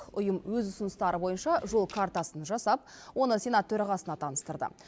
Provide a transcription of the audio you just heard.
ұйым өз ұсыныстары бойынша жол картасын жасап оны сенат төрағасына таныстырды